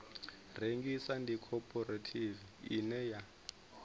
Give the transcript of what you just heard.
rengisa ndi khophorethivi ine ya